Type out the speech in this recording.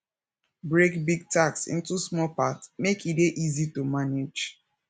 break big tasks into small parts make e dey easy to manage